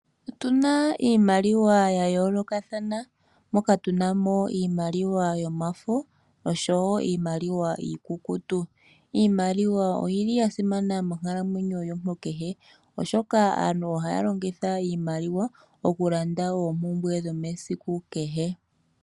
Otuna iimaliwa yayoolokathana, moka tuna mo iimaliwa yomafo oshowoo iimaliwa iikukutu. Iimaliwa oyili yasimana monkalamwenyo yomuntu kehe, oshoka aantu ohaya longitha iimaliwa okulanda oompumbwe dhomesiku kehe .